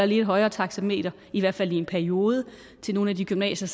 lidt højere taxameter i hvert fald i en periode til nogle af de gymnasier